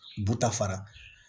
Butafara